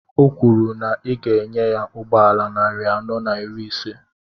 Ọ kwuru na ị ga enye ya ụgbọala narị anọ na iri ise